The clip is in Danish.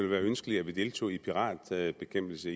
være ønskeligt at vi deltog i piratbekæmpelse